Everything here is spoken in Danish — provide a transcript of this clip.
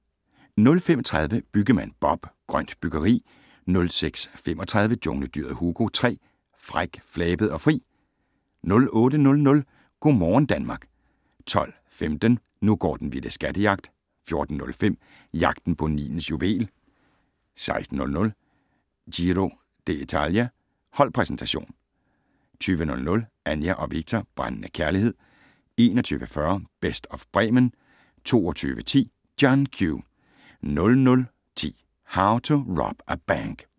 05:30: Byggemand Bob: Grønt byggeri 06:35: Jungledyret Hugo 3: Fræk, flabet og fri 08:00: Go morgen Danmark 12:15: Nu går den vilde skattejagt 14:05: Jagten på Nilens juvel 16:00: Giro d´Italia: Holdpræsentation 20:00: Anja og Viktor - brændende kærlighed 21:40: Best of Bremen 22:10: John Q 00:10: How to Rob a Bank